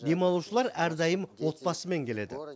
демалушылар әрдайым отбасымен келеді